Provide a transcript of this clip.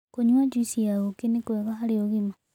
Kũnyua jũĩsĩ ya ũkĩ nĩ kwega harĩ ũgima